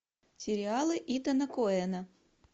сериалы итана коэна